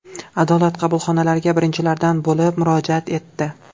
Adolat qabulxonalariga birinchilardan bo‘lib murojaat etdi.